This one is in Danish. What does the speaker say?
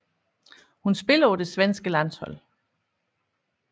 Hun spiller på det svenske landshold